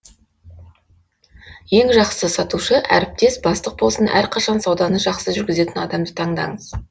ең жақсы сатушы әріптес бастық болсын әрқашан сауданы жақсы жүргізетін адамды таңдаңыз